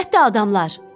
Əlbəttə adamlar.